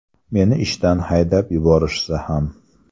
Meni ishdan haydab yuborishsa ham.